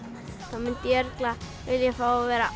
þá myndi ég vilja fá að vera